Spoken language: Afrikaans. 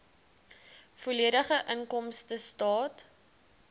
volledige inkomstestaat